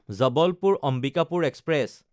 জবলপুৰ–অম্বিকাপুৰ express